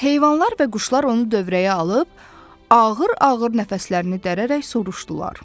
Heyvanlar və quşlar onu dövrəyə alıb ağır-ağır nəfəslərini dəyərək soruşdular.